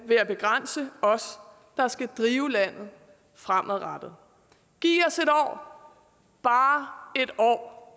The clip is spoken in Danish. ved at begrænse os der skal drive landet fremadrettet giv os et år bare et år